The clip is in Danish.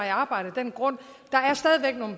i arbejde af den grund